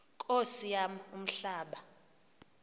nkosi yam umhlaba